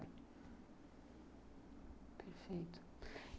Perfeito.